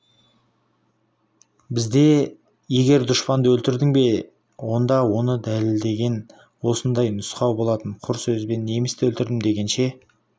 бізде егер дұшпанды өлтірдің бе онда оны дәлелдегін осындай нұсқау болатын құр сөзбен немісті өлтірдім дегенше